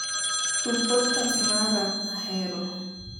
tug podcast mara a ahero